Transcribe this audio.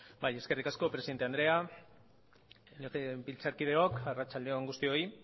bai eskerrik asko presidente andrea legebiltzarkideok arratsalde on guztioi